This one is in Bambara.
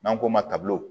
N'an k'o ma tabi